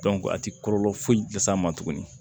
a ti kɔlɔlɔ foyi las'a ma tuguni